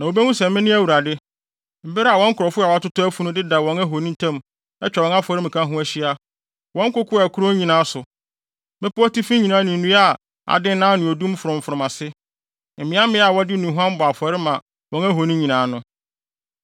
Na wobehu sɛ mene Awurade, bere a wɔn nkurɔfo a watotɔ afunu deda wɔn ahoni ntam atwa wɔn afɔremuka ho ahyia, wɔ nkoko a ɛkorɔn nyinaa so, mmepɔw atifi nyinaa ne nnua a adennan ne odum frɔmfrɔm ase, mmeaemmeae a wɔde nnuhuam bɔ afɔre ma wɔn ahoni nyinaa no.